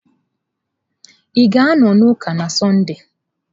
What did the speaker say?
Ị ga-anọ n'ụka na Sọnde?